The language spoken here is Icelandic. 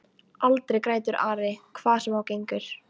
Aldrei grætur Ari hvað sem á gengur.